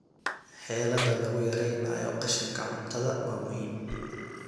Xeeladaha lagu yareynayo qashinka cuntada waa muhiim.